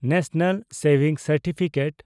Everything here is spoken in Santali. ᱱᱮᱥᱱᱟᱞ ᱥᱮᱵᱷᱤᱝ ᱥᱟᱨᱴᱤᱯᱷᱤᱠᱮᱴ